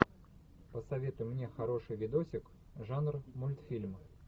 посоветуй мне хороший видосик жанр мультфильм